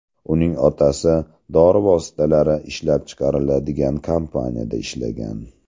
Uning otasi dori vositalari ishlab chiqariladigan kompaniyada ishlagan.